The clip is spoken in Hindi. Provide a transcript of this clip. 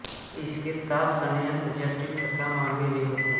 इसके ताप संयंत्र जटिल तथा महंगे भी होते हैं